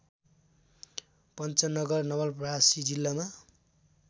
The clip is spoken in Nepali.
पन्चनगर नवलपरासी जिल्लामा